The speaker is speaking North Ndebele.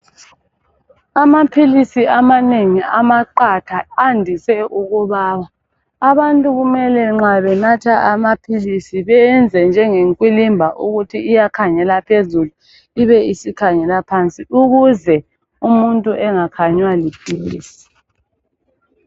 Amaphilisi amanengi, amaqatha, andise ukubaba. Abantu nxa benatha amaphilisi kumele benze njengekwilimba, ukuthi iyakhangela phezulu, ibe isikhangela phansi. Ukuze umuntu angakhanywa liphilisi.